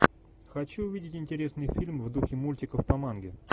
хочу увидеть интересный фильм в духе мультиков по манге